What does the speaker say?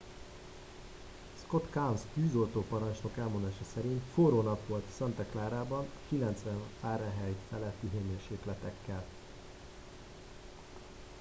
"scott kouns tűzoltóparancsnok elmondása szerint "forró nap volt santa clarában 90°f feletti hőmérsékletekkel.